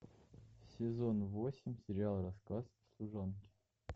сезон восемь сериал рассказ служанки